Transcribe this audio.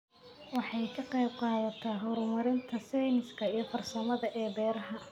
Waxay ka qaybqaadataa horumarinta sayniska iyo farsamada ee beeraha.